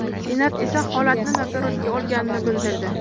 Senat esa holatni nazoratga olganini bildirdi .